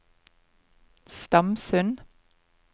Stamsund